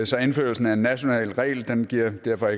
så indførelsen af en national regel giver derfor